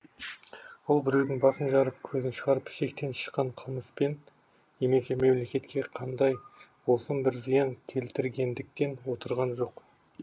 ол біреудің басын жарып көзін шығарып шектен шыққан қылмыспен немесе мемлекетке қандай болсын бір зиян келтіргендіктен отырған жоқ